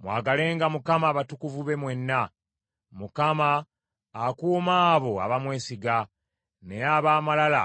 Mwagalenga Mukama abatukuvu be mwenna! Mukama akuuma abo abamwesiga, naye ab’amalala